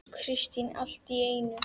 Kristín allt í einu.